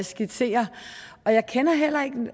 skitserer jeg kender heller ikke